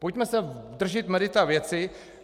Pojďme se držet merita věci.